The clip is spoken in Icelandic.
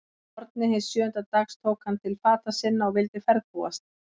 Að morgni hins sjöunda dags tók hann til fata sinna og vildi ferðbúast.